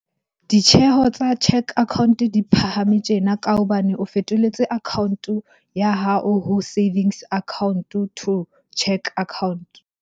Ditjheho tsa cheque account-o di phahame tjena ka hobane o fetoletse account-o ya hao ho savings account-o to cheque account-o.